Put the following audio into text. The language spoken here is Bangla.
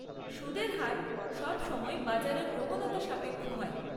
সুদের হার সবসময়ই বাজারের প্রবণতা সাপেক্ষ হয়।